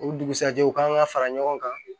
O dugusajɛ u kan ka fara ɲɔgɔn kan